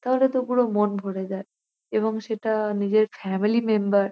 তাহলে তো পুরো মন ভরে যায় এবং সেটা-আ নিজের ফ্যামিলি মেম্বার --